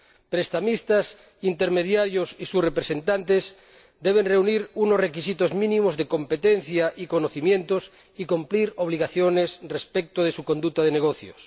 Prestamistas, intermediarios y sus representantes deben reunir unos requisitos mínimos de competencia y conocimientos y cumplir obligaciones respecto de su conducta de negocios.